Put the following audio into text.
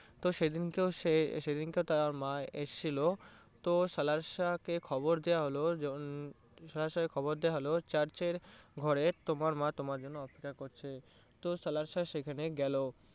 তো সেদিনকেও সে তো সেদিনকেও তার মা এসেছিলো তো কে খবর দেওয়া হলো কে খবর দেওয়া হলো church এর ঘরে তোমার মা তোমার জন্য অপেক্ষা করছে তো সেখানে গেলো।